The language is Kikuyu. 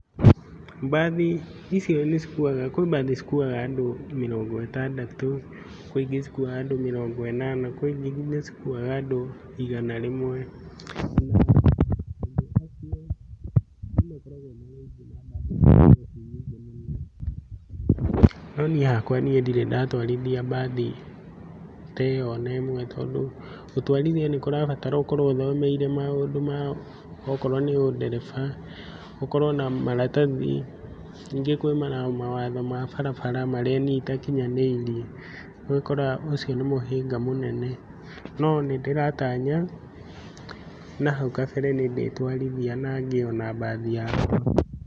Mbathi icio nĩcikuaga, kwĩ mbathi cikuaga andũ mĩrongo ĩtandatũ, kwĩ ingĩ cikuaga andũ mĩrongo ĩnana, kwĩ ingĩ cikuaga andũ igana rĩmwe no niĩ hakwa niĩ ndirĩ ndatwarithia mbathi teo nene tondũ gũtwarithia nĩkũrabatarwo ũkorwo ũthomeire maũndũ ma okorwo nĩ ũndereba ũkorwo na maratathi, nyingĩ kwĩ mawatho ma barabara marĩa niĩ itakinyanĩirie rĩu ũgakora ũcio nĩ mũhĩnga mũnene. Nonĩndĩratanya nahu kabere nĩndĩtwarithia nangĩe ona mbathi yakwa.